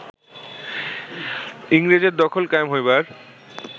ইংরেজের দখল কায়েম হইবার